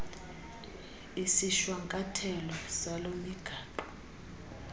isishwankathelo salo migaqo